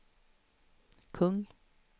kung